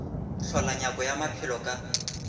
hlola nyako ya maphelo ka